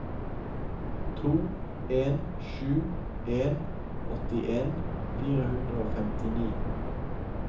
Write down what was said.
to en sju en åttien fire hundre og femtini